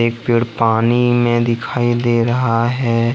पेड़ पानी में दिखाई दे रहा है।